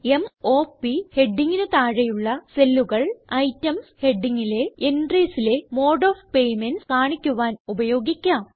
m o പ് ഹെഡിംഗിന് താഴെയുള്ള cellല്ലുകൾ ഐറ്റംസ് ഹെഡിംഗിലെ entriesലെ മോഡ് ഓഫ് പേയ്മെന്റ്സ് കാണിക്കുവാൻ ഉപയോഗിക്കാം